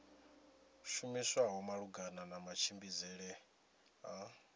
shumiswaho malugana na matshimbidzele a